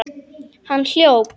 Hann hljóp.